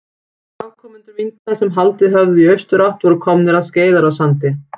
Afkomendur minka sem haldið höfðu í austurátt voru komnir að Skeiðarársandi.